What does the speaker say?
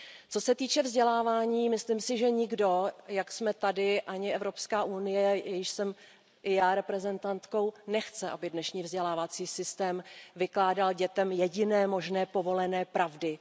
Co se týče vzdělávání, myslím si, že nikdo, jak jsme tady, ani Evropská unie, jejíž jsem i já reprezentantkou, nechce, aby dnešní vzdělávací systém vykládal dětem jediné možné povolené pravdy.